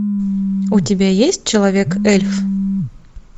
у тебя есть человек эльф